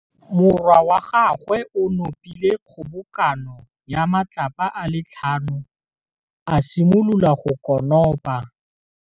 Morwa wa gagwe o nopile kgobokanô ya matlapa a le tlhano, a simolola go konopa.